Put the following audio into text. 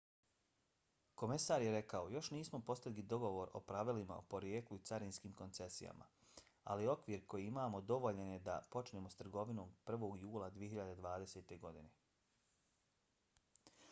komesar je rekao: još nismo postigli dogovor o pravilima o porijeklu i carinskim koncesijama ali okvir koji imamo dovoljan je da počnemo s trgovinom 1. jula 2020. godine.